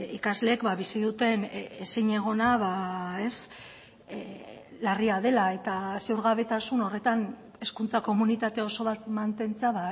ikasleek bizi duten ezinegona larria dela eta ziurgabetasun horretan hezkuntza komunitate oso bat mantentzea